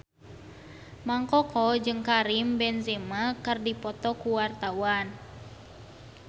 Mang Koko jeung Karim Benzema keur dipoto ku wartawan